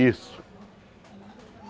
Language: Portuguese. Isso.